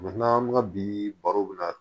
an bɛ ka bi baro bɛ na